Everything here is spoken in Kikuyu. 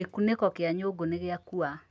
Gĩkunĩko kĩa nyũngũnĩgĩakua